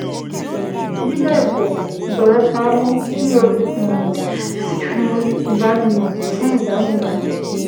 Bí bẹ́ẹ̀ kọ́, jọ̀wọ́ pa á mọ́ kí o um sì fi ìdánimọ̀ sí ìdáhùn náà